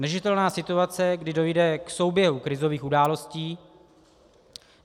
Neudržitelná situace, kdy dojde k souběhu krizových událostí.